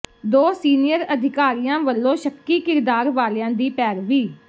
ਦੋ ਸੀਨੀਅਰ ਅਧਿਕਾਰੀਆਂ ਵੱਲੋਂ ਸ਼ੱਕੀ ਕਿਰਦਾਰ ਵਾਲਿਆਂ ਦੀ ਪੈਰਵੀ